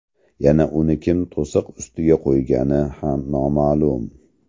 Yana uni kim to‘siq ustiga qo‘ygani ham noma’lum.